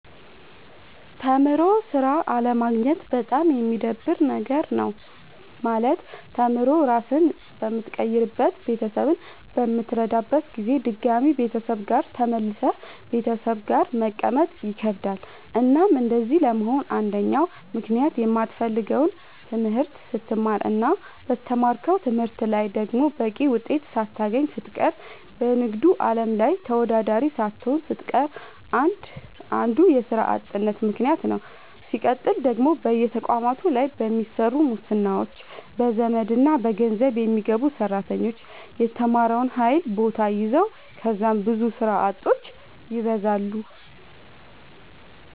ተምሮ ስራ አለማግኘት በጣም የሚደብር ነገር ነው። ማለት ተምሮ ራስህን በምትቀይርበት ቤተሰብህን በምትረዳበት ጊዜ ድጋሚ ቤተሰብ ጋር ተመልሰህ ቤተሰብ ጋር መቀመጥ ይከብዳል። እናም እንደዚህ ለመሆን አንደኛው ምክንያት የማትፈልገውን ትምህርት ስትማር እና በተማርከው ትምህርት ላይ ደግሞ በቂ ውጤት ሳታገኝ ስትቀር በንግዱ አለም ላይ ተወዳዳሪ ሳትሆን ስትቀር አንዱ የስራ አጥነት ምከንያት ነዉ። ስቀጥል ደግሞ በየተቋማቱ ላይ በሚሰሩ ሙስናዎች፣ በዘመድና በገንዘብ የሚገቡ ሰራተኞች የተማረውን ኃይል ቦታ ይዘዋል ከዛም ብዙ ስራ አጦች ይበዛሉ።